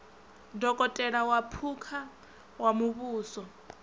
dokotela wa phukha wa muvhuso